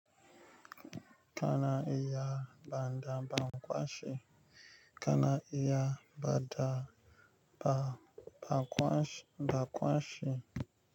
Kana iya bada ba kwashi, kana iya bada ba, ba kwashi, ba kwashi.